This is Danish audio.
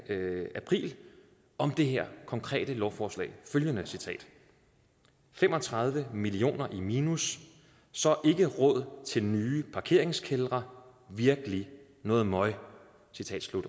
april om det her konkrete lovforslag følgende fem og tredive millioner i minus så ikke råd til nye parkeringskældre virkelig noget møg